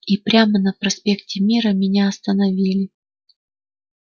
и прямо на проспекте мира меня остановили